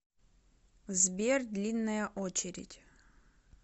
сбер длинная очередь